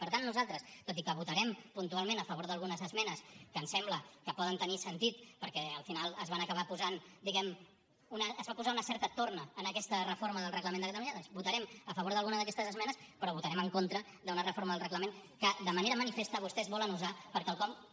per tant nosaltres tot i que votarem puntualment a favor d’algunes esmenes que ens sembla que poden tenir sentit perquè al final es van acabar posant diguem ne es va posar una certa torna en aquesta reforma del reglament de catalunya doncs votarem a favor d’alguna d’aquestes esmenes però votarem en contra d’una reforma del reglament que de manera manifesta vostès volen usar per a quelcom que